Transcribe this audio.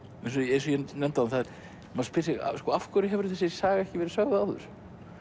eins og ég nefndi áðan maður spyr sig af hverju hefur þessi saga ekki verið sögð áður